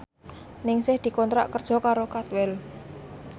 Ningsih dikontrak kerja karo Cadwell